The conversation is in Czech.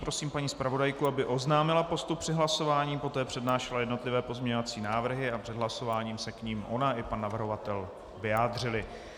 Prosím paní zpravodajku, aby oznámila postup při hlasování, poté přednášela jednotlivé pozměňovací návrhy a před hlasováním se k nim ona i pan navrhovatel vyjádřili.